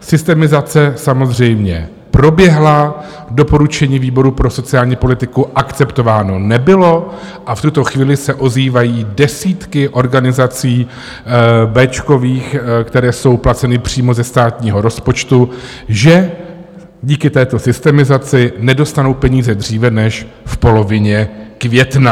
Systemizace samozřejmě proběhla, doporučení výboru pro sociální politiku akceptováno nebylo a v tuto chvíli se ozývají desítky organizací béčkových, které jsou placeny přímo ze státního rozpočtu, že díky této systemizaci nedostanou peníze dříve než v polovině května.